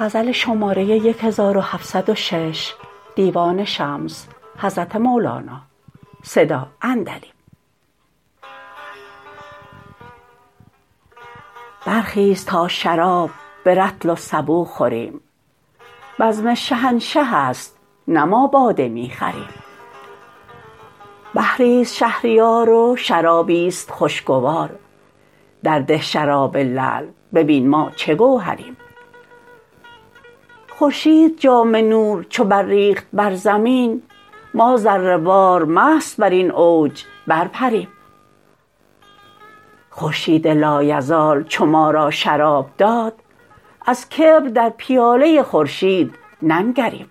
برخیز تا شراب به رطل و سبو خوریم بزم شهنشه ست نه ما باده می خریم بحری است شهریار و شرابی است خوشگوار درده شراب لعل ببین ما چه گوهریم خورشید جام نور چو برریخت بر زمین ما ذره وار مست بر این اوج برپریم خورشید لایزال چو ما را شراب داد از کبر در پیاله خورشید ننگریم